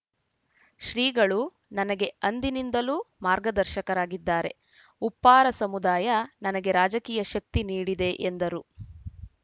ಶ್ರೀಗಳು ನನಗೆ ಅಂದಿನಿಂದಲೂ ಮಾರ್ಗದರ್ಶಕರಾಗಿದ್ದಾರೆ ಉಪ್ಪಾರ ಸಮುದಾಯ ನನಗೆ ರಾಜಕೀಯ ಶಕ್ತಿ ನೀಡಿದೆ ಎಂದರು